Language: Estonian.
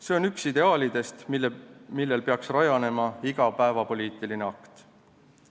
See on üks ideaalidest, millel peaks rajanema iga päevapoliitiline akt.